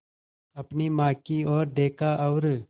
अपनी माँ की ओर देखा और